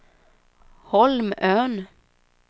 Holmön